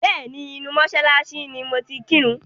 Bẹ́ẹ̀ni, inú mọ́ṣáláṣí ni mo ti kírun.